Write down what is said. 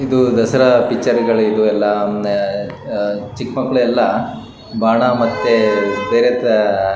ಇದು ದಸರಾ ಪಿಕ್ಚರ್ ಗಳು ಇದೆಲ್ಲಾ ಒಂದ ಅ ಚಿಕ್ಕ ಮಕ್ಕಳು ಯಲ್ಲಾ ಬಾಣಾ ಮತ್ತೆ ಬೇರೆ ತಾ--